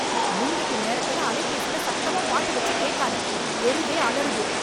மின்வெட்டு நேரத்துல அலைபேசில சத்தமா பாட்டு வச்சு கேக்காத, தெருவே அலறுது.